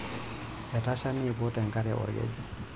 Etasha neiput enkare olkeju.